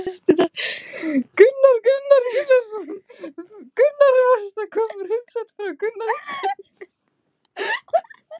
Magnús Hlynur Hreiðarsson: Þú varst að koma úr heimsókn frá forseta Íslands?